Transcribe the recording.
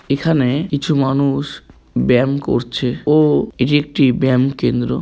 এখানে কিছু মানুষ ব্যায়াম করছে ও এটি একটি ব্যায়াম কেন্দ্র।